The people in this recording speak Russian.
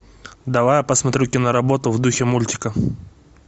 давай я посмотрю киноработу в духе мультика